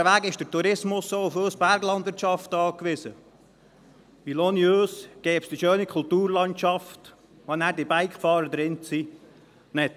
Andererseits ist der Tourismus auch auf uns Berglandwirtschaft angewiesen, denn ohne uns gäbe es die schöne Kulturlandschaft nicht, in der diese Bikefahrer dann sind.